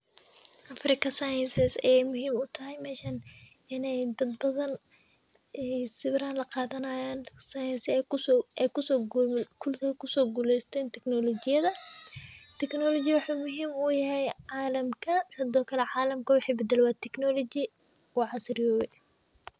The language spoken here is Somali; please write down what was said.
African sciences ayay muhim utahay meshan inay dadbadan ay sawirah laqadan science aykuso guleysten technology ,technology wxu muhim u yahay calamka, hadokale calamka wxa badle waa technology u casriyowe.